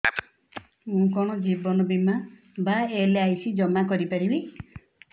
ମୁ କଣ ଜୀବନ ବୀମା ବା ଏଲ୍.ଆଇ.ସି ଜମା କରି ପାରିବି